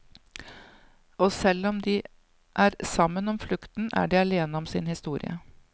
Og selv om de er sammen om flukten, er de alene om sin historie.